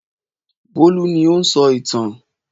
Bólú ni ó ń sọ ìtàn.